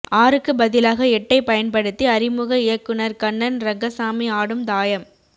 ஆறுக்கு பதிலாக எட்டை பயன்படுத்தி அறிமுக இயக்குனர் கண்ணன் ரங்கசாமி ஆடும் தாயம்